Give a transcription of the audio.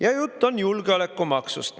Ja jutt on julgeolekumaksust.